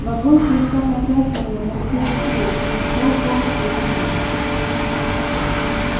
вагон слегка потряхивало на стыках рельс но шёл поезд очень мягко